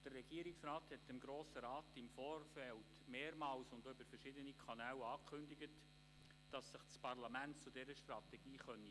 Der Regierungsrat hat dem Grossen Rat im Vorfeld mehrmals und über verschiedene Kanäle angekündigt, das Parlament werde sich zu dieser Strategie äussern können.